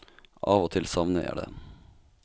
Av og til savner jeg det.